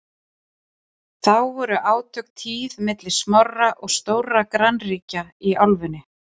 þá voru átök tíð milli smárra og stórra grannríkja í álfunni